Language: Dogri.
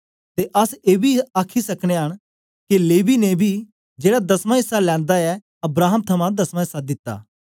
ते अस एबी आखी सकनयां न के लेवी ने बी जेड़ा दसमां इस्सा लैंदा ऐ अब्राहम थमां दसमां इस्सा दिता